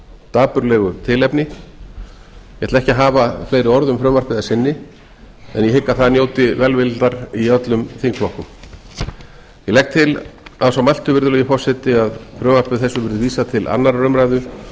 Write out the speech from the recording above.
dapurlegu tilefni ég ætla ekki að hafa fleiri orð um frumvarpið að sinni en ég hygg að það njóti velvildar í öllum þingflokkum ég legg til að svo mæltu virðulegi forseti að frumvarpi þessu verði vísað til annarrar umræðu